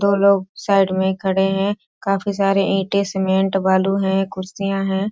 दो लोग साइड में खड़े हैं काफी सारे इटे सीमेंट बालू है कुर्सियां हैं